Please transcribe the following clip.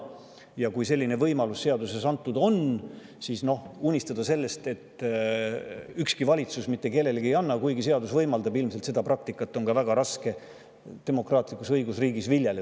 Ja kui selline võimalus seadusega anda, siis ei unistada sellest, et ükski valitsus mitte kellelegi ei anna, kuigi seadus seda võimaldab, sest sellist praktikat oleks ilmselt väga raske demokraatlikus õigusriigis viljeleda.